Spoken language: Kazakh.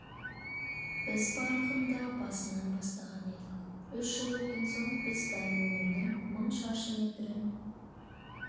біз барлығын да басынан бастаған едік үш жыл өткен соң біз дайын өнімнің мың шаршы метрін